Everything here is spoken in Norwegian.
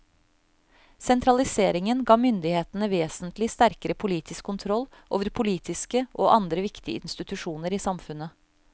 Sentraliseringen ga myndighetene vesentlig sterkere politisk kontroll over politiske og andre viktige institusjoner i samfunnet.